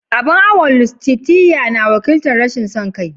Abun awon Lustitia na wakiltar "Rashin son kai."